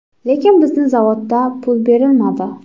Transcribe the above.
Lekin bizni zavodda pul berilmadi.